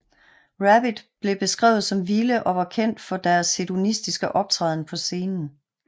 Rabbit blev beskrevet som vilde og var kendt for sin hedonistiske optræden på scenen